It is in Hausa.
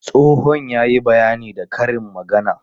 Tsohon ya yi bayani da karin magana.